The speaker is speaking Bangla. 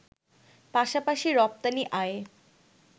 পাশাপাশি রপ্তানি আয়ে